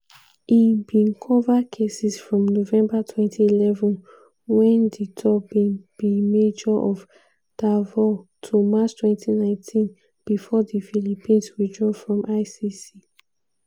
e bin cover cases from november 2011 wen duterte bin be mayor of davao to march 2019 before di philippines withdraw from icc.